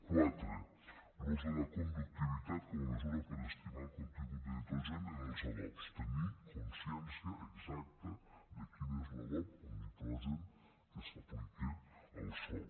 quatre l’ús de la conductivitat com a mesura per a estimar el contingut de nitrogen en els adobs tenir consciència exacta de quin és l’adob amb nitrogen que s’aplica al sòl